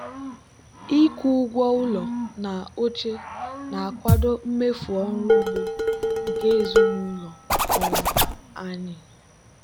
ịkwụ ụgwọ ụlọ na oche na-akwado mmefu ọrụ ugbo nke ezinụlọ um anyị.